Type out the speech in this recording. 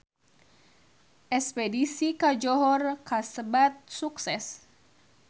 Espedisi ka Johor kasebat sukses